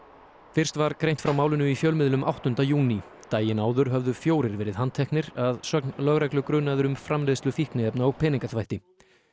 fyrst var greint frá málinu í fjölmiðlum áttunda júní daginn áður höfðu fjórir verið handteknir að sögn lögreglu grunaðir um framleiðslu fíkniefna og peningaþvætti